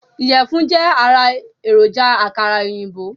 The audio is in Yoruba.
Iyẹ̀fun jẹ́ ará èròjà àkàrà òyìnbó